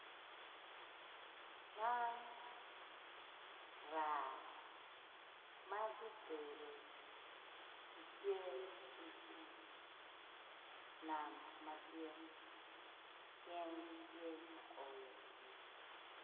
Man raa ma gibedo gitye i pii nam madit gin gitye ka oyo pii.